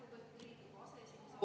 Aitäh, lugupeetud Riigikogu aseesimees!